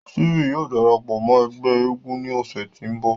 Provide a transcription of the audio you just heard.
Stephen yóò darapọ mọ ẹgbẹ èègún ni ọsẹ ti nbọ.